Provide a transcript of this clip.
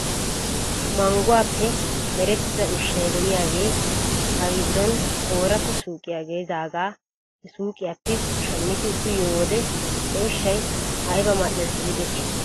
Mangguwaappe merettida ushshay de'iyaagee ha giddon ooratta suyqiyaa gelidaagaa he suyiqiyaappe shammidi uyiyoo wode he ushshay ayba mal'es giidetii .